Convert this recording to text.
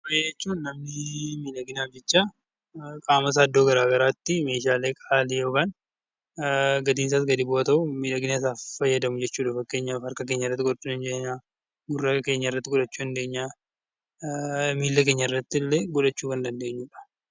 Faaya jechuun namni miidhaginaaf jecha qaama isaa iddoo garaagaraatti meeshaalee qaalii gatiin isaas gadi bu'aa ta'u miidhagina isaaf fayyadamu jechuudha. Fakkeenyaaf harka , gurra, miila keenyatti illee godhachuu dandeenya